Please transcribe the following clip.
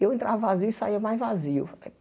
Eu entrava vazio e saía mais vazio.